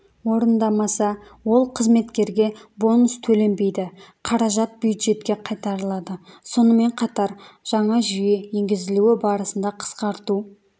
орындамаса ол қызметкерге бонус төленбейді қаражат бюджетке қайтарылады сонымен қатар жаңа жүйе енгізілуі барысында қысқарту